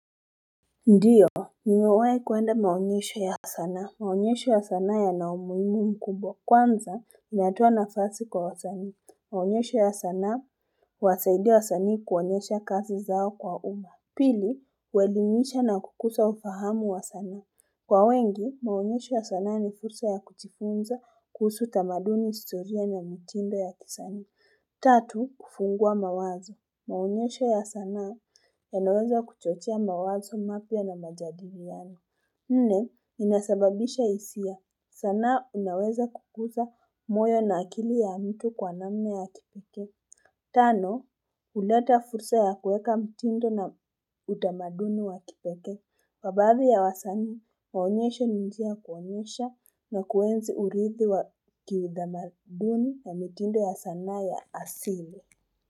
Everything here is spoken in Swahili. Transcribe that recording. Ndio, nimewahi kuenda maonyesho ya sanaa, maonyesho ya sanaa yana umuhimu mkumbwa, kwanza inatoa nafasi kwa wasanii, maonyesho ya sanaa, huwasaidia wasani kuonyesha kazi zao kwa uma. Pili, uelimisha na kukuza ufahamu wa sana. Kwa wengi, maonyesho ya sana ni fursa ya kujifunza kuhusu tamaduni historia na mitindo ya kisanii. Tatu, kufungua mawazo. Maonyesho ya sanaa yanaweza kuchochea mawazo mapya na majadiliano. Nne, inasababisha hisia. Sanaa unaweza kukuza moyo na akili ya mtu kwa namna ya kipekee. Tano, uleta fursa ya kueka mtindo na utamaduni wa kipeke. Kwa badhii ya wasani, maonyesho ni njia ya kuonyesha na kuenzi uridhi wa kiudhamaduni na mitindo ya sanaa ya asili.